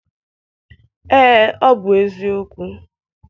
Ee, ọ bụ eziokwu.